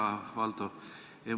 Hea Valdo!